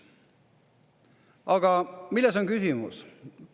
Aga milles on küsimus?